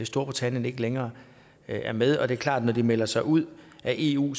storbritannien ikke længere er med og det er klart at når de melder sig ud af eu